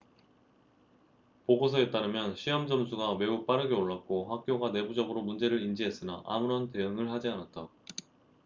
보고서에 따르면 시험 점수가 매우 빠르게 올랐고 학교가 내부적으로 문제를 인지했으나 아무런 대응을 하지 않았다